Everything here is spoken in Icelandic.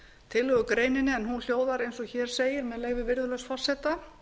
tillögugreininni en hún hljóðar eins og hér segir með leyfi virðulegs forseta